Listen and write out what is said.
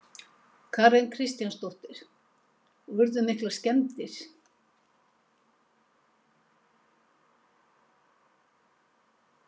Karen Kjartansdóttir: Og urðu miklar skemmdir?